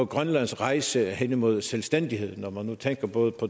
grønlands rejse hen imod selvstændighed når man nu tænker både